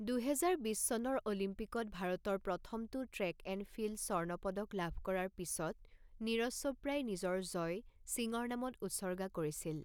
দুহেজাৰ বিছ চনৰ অলিম্পিকত ভাৰতৰ প্ৰথমটো ট্ৰেক এণ্ড ফিল্ড স্বৰ্ণ পদক লাভ কৰাৰ পিছত নীৰজ চোপ্ৰাই নিজৰ জয় সিঙৰ নামত উৎসৰ্গা কৰিছিল।